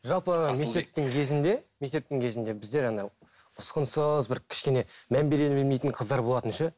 жалпы мектептің кезінде мектептің кезінде біздер ана ұсқынсыз бір кішкене мән бере бермейтін қыздар болатын ше